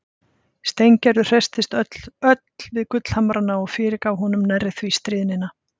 Steingerður hresstist öll við gullhamrana og fyrirgaf honum nærri því stríðnina.